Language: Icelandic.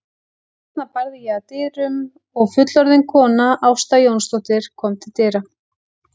Þarna barði ég að dyrum og fullorðin kona, Ásta Jónsdóttir, kom til dyra.